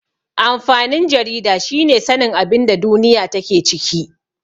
Amfanin jarida shine sanin abinda duniya take ciki.